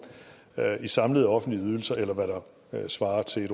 i samlede offentlige ydelser eller hvad der svarer til